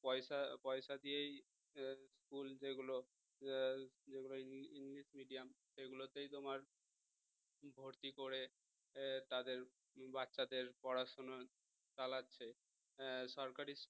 পয়সা~ পয়সা দিয়েই school যেগুলো যেগুলো english medium সেগুলোতেই তোমার ভর্তি করে তাদের বাচ্চাদের পড়াশোনা চালাচ্ছে সরকারি